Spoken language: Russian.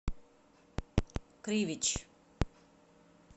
кривич